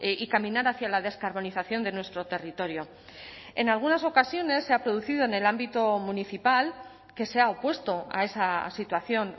y caminar hacia la descarbonización de nuestro territorio en algunas ocasiones se ha producido en el ámbito municipal que se ha opuesto a esa situación